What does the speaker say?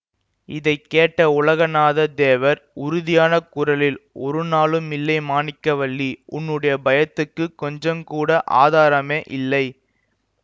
இதை கேட்ட உலகநாதத் தேவர் உறுதியான குரலில் ஒரு நாளும் இல்லை மாணிக்கவல்லி உன்னுடைய பயத்துக்குக் கொஞ்சங்கூட ஆதாரமே இல்லை